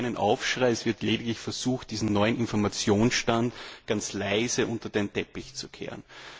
Es gibt keinen Aufschrei, es wird lediglich versucht, diesen neuen Informationsstand ganz leise unter den Teppich zu kehren.